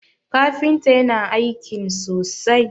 kafinta yana aikin sosai!